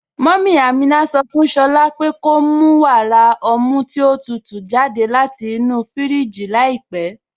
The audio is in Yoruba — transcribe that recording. Mummy Ámínà sọ fún Shọ̀lá po ko mù wàrà ọ̀mù tí o tútú jàdẹ̀ láti inú fíríjì làípẹ̀.